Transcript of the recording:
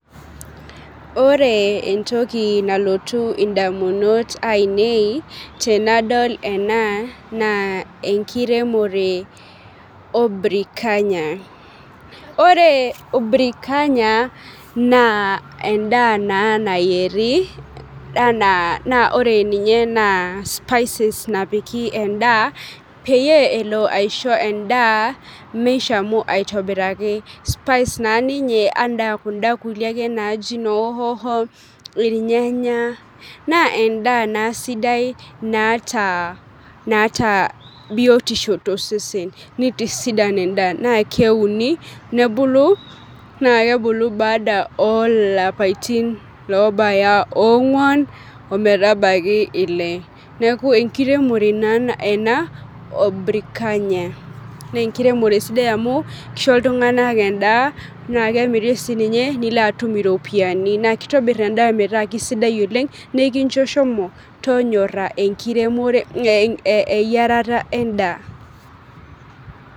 Ore entoki nalotu ndamunot ainei tenadol ena na enkiremore obrikanya, ore brikanya na endaa nayieri na spices napiki endaa peyie elo aisho endaa mishamu aitobiraki ,spice na ninye ana kunda kulie naji hoho, irnyanya, na endaa na sidai naatavbiotisho sidai tosesen na keuni nebulu na kebulu badala olapaitin obaya onguan ometabaki ile ,neaku enkiremore ena obrikanya na enkiremore sidai amu kisho ltunganak endaa na kemiribninye nisho ltunganak iropiyiani na kemiri nitobir endaa metaabkesidai oleng nikincho shomo tonyora eyiarata endaa.